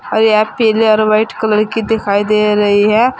और यह पीले और व्हाइट कलर की दिखाई दे रही है।